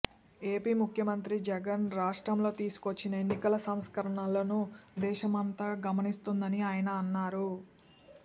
AP ముఖ్యమంత్రి జగన్ రాష్ట్రంలో తీసుకొచ్చిన ఎన్నికల సంస్కరణలను దేశమంతా గమనిస్తోందని ఆయన అన్నారు